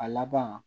A laban